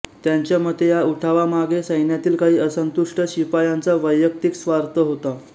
त्यांच्या मते या उठावामागे सैन्यातील काही असंतुष्ट शिपायांचा वैयक्तीक स्वार्थ होता